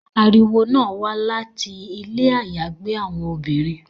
Ariwo náa wa lati ile ayagbe awọn obinrin